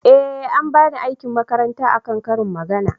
eh an bani aikin makaranta a kan ƙarin magana